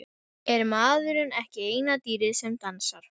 Er maðurinn ekki eina dýrið sem dansar?